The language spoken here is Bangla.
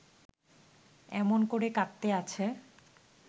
এমন করে কাঁদতে আছে